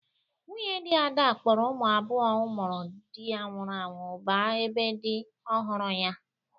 Nwunye dị Ada kpọrọ ụmụ abụo ụmụrụ dị ya nwụrụ anwụ ba ebe dị ọhụrụ ya.